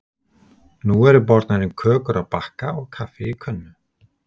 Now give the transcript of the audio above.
Nú eru bornar inn kökur á bakka og kaffi í könnu.